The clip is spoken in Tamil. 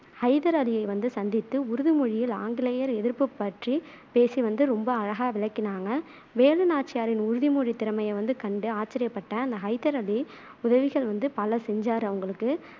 ஹைதர் அலியை வந்து சந்தித்து உருது மொழியில் ஆங்கிலேயர் எதிர்ப்புப் பற்றிப் பேசி வந்து ரொம்ப அழகா விளக்கினாங்க வேலு நாச்சியாரின் உருது மொழித் திறமையைக் கண்டு ஆச்சர்யப்பட்ட அந்த ஹைதர் அலி உதவிகள் வந்து பல செஞ்சாறு அவங்களுக்கு